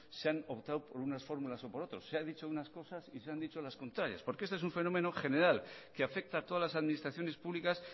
se han optado por unas fórmulas o por otras se han dicho unas cosas y se han dicho las contrarias porque este es un fenómeno general que afecta a todas las administraciones públicas